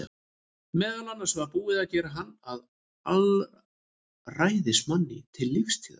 Meðal annars var búið að gera hann að alræðismanni til lífstíðar.